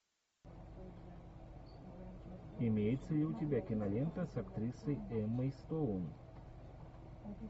имеется ли у тебя кинолента с актрисой эммой стоун